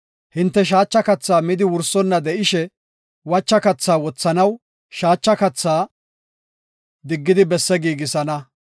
Hinte shaacha kathaa midi wursonna de7ishe, wacha kathaa wothanaw, shaacha kathaa diggidi besse giigisana.